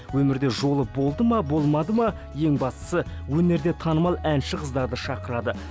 өмірде жолы болды ма болмады ма ең бастысы өнерде танымал әнші қыздарды шақырады